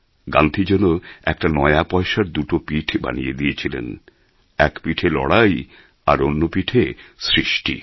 গান্ধী যেন একটা নয়া পয়সার দুটো পিঠ বানিয়ে দিয়েছিলেন এক পিঠে লড়াই তো অন্য পিঠে সৃষ্টি